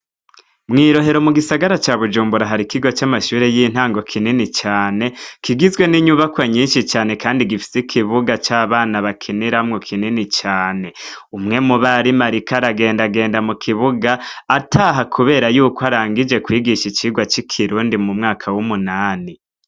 mwirohero mu gisagara ca bujumbura hari ikigwa cy'amashure y'intango kinini cyane kigizwe n'inyubako nyinshi cyane kandi gifise ikibuga c'abana bakinira mu kinini cyane umwe mu bari marikaragenda genda mu kibuga ataha kubera yuko arangije kwigisha icigwa c'ikirundi mu mwaka w'umunani